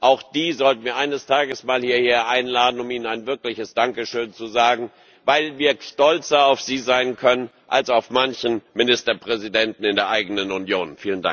Auch die sollten wir eines Tages mal hierher einladen, um ihnen ein wirkliches Dankeschön zu sagen, weil wir stolzer auf sie sein können als auf manchen Ministerpräsidenten in der eigenen Union.